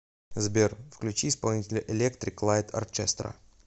сбер включи исполнителя электрик лайт орчестра